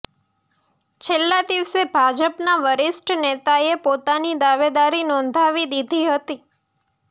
છેલ્લા દિવસે ભાજપના વરિષ્ઠ નેતાએ પોતાની દાવેદારી નોંધાવી દીધી હતી